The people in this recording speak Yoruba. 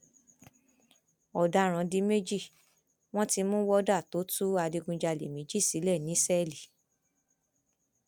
ọdaràn di méjì wọn ti mú wọdà tó tú adigunjalè méjì sílẹ ní sẹẹlì